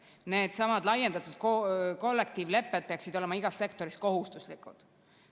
Needsamad laiendatud kollektiivlepped peaksid olema igas sektoris kohustuslikud.